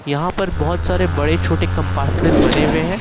यहां पर बहुत सारे बड़े छोटे कंपार्टमेंट बने हुए हैं।